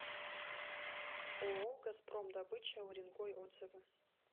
ооо газпром добыча уренгой отзывы